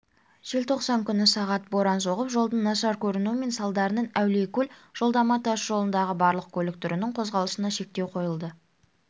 желтоқсан күні сағат боран соғып жолдың нашар көрінуі салдарынан әулиекөл жолдама тас жолындағы барлық көлік түрінің қозғалысына шектеу қойылды